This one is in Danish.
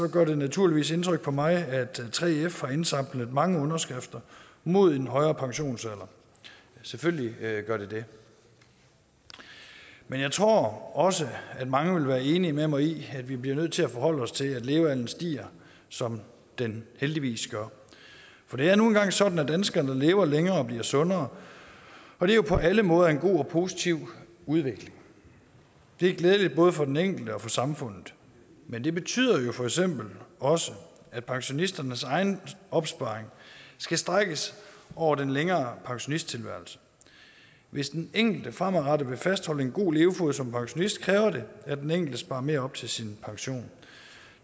gør det naturligvis indtryk på mig at 3f har indsamlet mange underskrifter mod en højere pensionsalder selvfølgelig gør det det men jeg tror også at mange vil være enige med mig i at vi bliver nødt til at forholde os til at levealderen stiger som den heldigvis gør for det er nu engang sådan at danskerne lever længere og bliver sundere og det er jo på alle måder en god og positiv udvikling det er glædeligt både for den enkelte og for samfundet men det betyder jo for eksempel også at pensionisternes egen opsparing skal strækkes over den længere pensionisttilværelse hvis den enkelte fremadrettet vil fastholde en god levefod som pensionist kræver det at den enkelte sparer mere op til sin pension